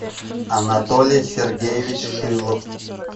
анатолий сергеевич шилов